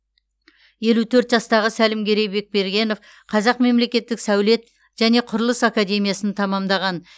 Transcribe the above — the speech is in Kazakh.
елу төрт жастағы сәлімгерей бекбергенов қазақ мемлекеттік сәулет және құрылыс академиясын тәмамдаған